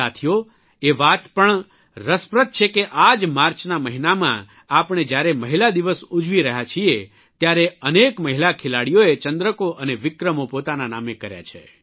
સાથીઓ એ વાત પણ રસપ્રદ છે કે આ જ માર્ચના મહિનામાં આપણે જયારે મહિલા દિવસ ઉજવી રહ્યા છીએ ત્યારે અનેક મહિલા ખેલાડીઓએ ચંદ્રકો અને વિક્રમો પોતાના નામે કર્યા છે